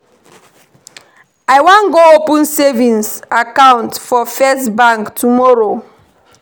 I wan go open savings account for first bank tomorrow